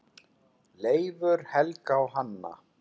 Leifur, Helga og Hanna.